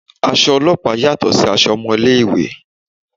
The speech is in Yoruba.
Aṣọ ọlọ́pàá yàtọ̀ sí aṣọ ọmọ ilé-ìwé